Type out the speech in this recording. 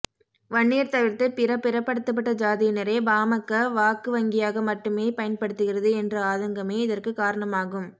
வன்னியர் தவிர்த்த பிற பிறப்படுத்தப்பட்ட ஜாதியினரை பாமக வாக்கு வங்கியாக மட்டுமே பயன்படுத்துகிறது என்ற ஆதங்கமே இதற்கு காரணமாகும்